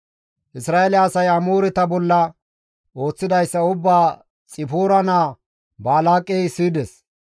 Isra7eele asay Amooreta bolla ooththidayssa ubbaa Xipoora naa Balaaqey siyides.